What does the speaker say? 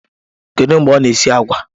Kedu mgbe ọ na-esi agwa?